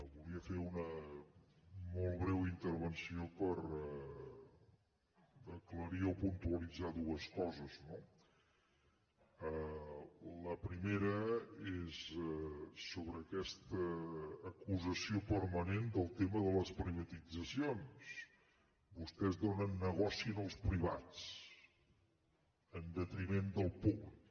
volia fer una molt breu intervenció per aclarir o puntualitzar dues coses no la primera és sobre aquesta acusació permanent del tema de les privatitzacions vostès donen negoci als privats en detriment del públic